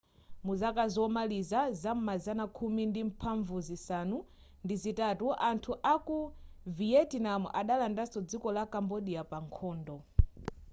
muzaka zomaliza zam'mazana khumi ndi mphambu zisanu ndi zitatu anthu aku viyetinamu adalandaso dziko la kambodya pa nkhondo